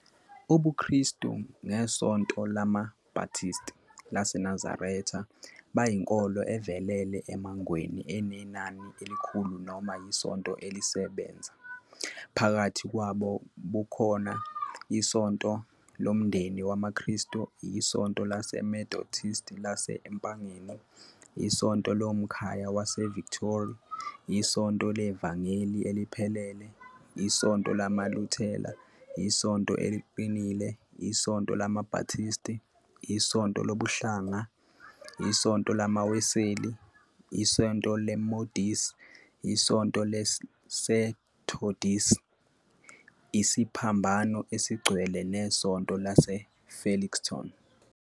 UbuKristu nesonto lama-Baptist laseNazaretha bayinkolo evelele e-Mangweni enenani elikhulu noma isonto elisebenza, phakathi kwabo kukhona iSonto Lomndeni WamaKristu, iSonto LaseMethodist Lase-eMpangeni, iSonto Lomkhaya Wase-Victory, iSonto LeVangeli Eliphelele, iSonto LamaLuthela, iSonto Eliqinile, iSonto lamaBaptist, iSonto Lokuhlangana, iSonto LamaWeseli, iSonto Lemodisi, iSonto Lasethodisi, Isiphambano Elingcwele neSonto LaseFelixton.